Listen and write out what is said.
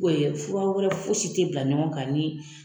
Eefura wɛrɛ foyi si tɛ bila ɲɔgɔn kan ni